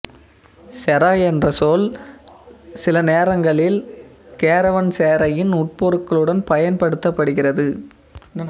செராய் என்ற சொல் சில நேரங்களில் கேரவன்செரையின் உட்பொருளுடன் பயன்படுத்தப்படுகிறது